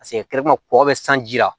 Paseke mɔgɔ bɛ sanji la